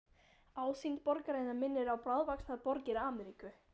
Ásýnd borgarinnar minnir á bráðvaxnar borgir Ameríku.